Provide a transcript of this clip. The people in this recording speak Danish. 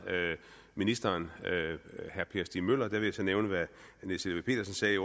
ministeren herre per stig møller og der vil jeg så nævne hvad niels helveg petersen sagde i